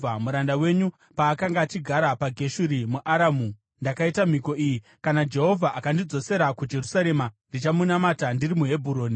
Muranda wenyu paakanga achigara paGeshuri muAramu, ndakaita mhiko iyi, ‘Kana Jehovha akandidzosera kuJerusarema, ndichamunamata ndiri muHebhuroni.’ ”